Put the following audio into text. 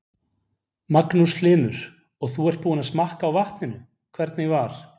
Magnús Hlynur: Og þú ert búinn að smakka á vatninu, hvernig var?